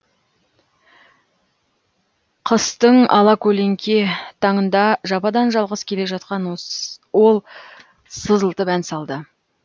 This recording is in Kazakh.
қыстың ала көлеңке таңында жападан жалғыз келе жатқан ол сызылтып ән салды